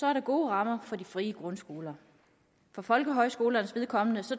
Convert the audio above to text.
er der gode rammer for de frie grundskoler for folkehøjskolernes vedkommende